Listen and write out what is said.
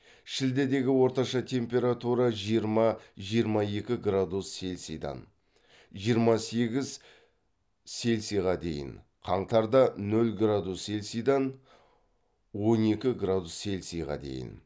шілдедегі орташа температура жиырма жиырма екі градус селсидан жиырма сегіз селсиға дейін қаңтарда нөл градус селсидан он екі градус селсиға дейін